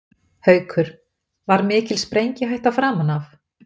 Haukur: Var mikil sprengihætta framan af?